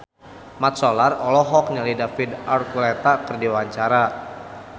Mat Solar olohok ningali David Archuletta keur diwawancara